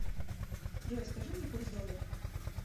джой скажи мне курс доллара